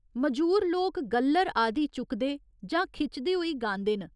मजूर लोक गल्लर आदि चुकदे जां खिचदे होई गांदे न।